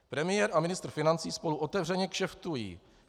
Premiér a ministr financí spolu otevřeně kšeftují.